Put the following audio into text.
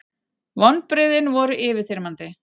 Vonbrigðin voru yfirþyrmandi.